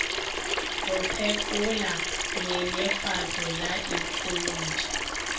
go phekola nyenyefatšo ya ikholotši